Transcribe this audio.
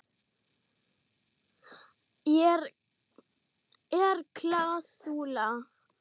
Er klásúla?